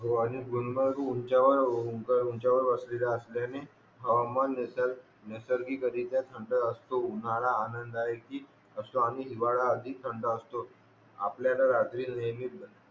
हो आणि गुलमर्ग उचावर उंचावर असल्याने मन नायसर नैसर्गिक रित्यां काह असतो उत्साहाला आनंददायकि असतो आणि हिवाळा हा आणि थंड असतो आपल्याला रात्रीत नेहमी